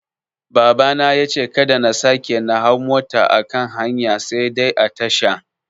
Baba yace kada na sake na hau mota a kan hanya sai dai a tasha.